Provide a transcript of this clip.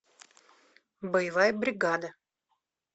боевая бригада